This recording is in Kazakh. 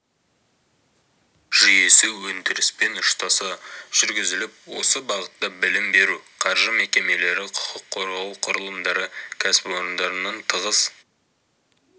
жүйесі өндіріспен ұштаса жүргізіліп осы бағытта білім беру қаржы мекемелері құқық қорғау құрылымдары кәсіпорындармен тығыз